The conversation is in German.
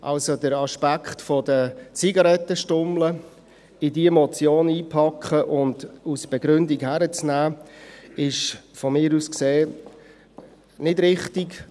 Also: Den Aspekt der Zigarettenstummel in diese Motion hineinzupacken und als Begründung zu nehmen, ist aus meiner Sicht nicht richtig.